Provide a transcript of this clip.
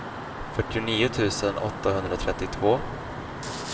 fyrtionio tusen åttahundratrettiotvå